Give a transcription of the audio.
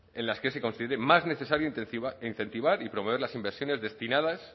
en las que se considere más necesario incentivar y proveer las inversiones destinadas